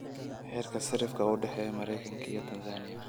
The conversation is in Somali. heerka sarrifka u dhexeeya Maraykanka iyo Tanzaniya